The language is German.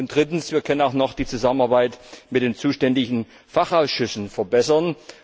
Drittens Wir können auch noch die Zusammenarbeit mit den zuständigen Fachausschüssen verbessern.